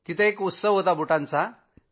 तिथं एक प्रदर्शन होतं बुटांचं